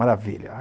Maravilha!